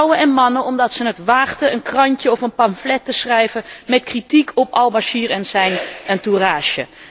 Vrouwen en mannen, omdat zij het waagden een krantje of een pamflet te schrijven met kritiek op al Bashir en zijn entourage.